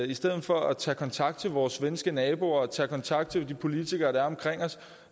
i stedet for at tage kontakt til vores svenske naboer tage kontakt til de politikere der er omkring os